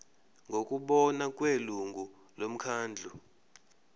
ngokubona kwelungu lomkhandlu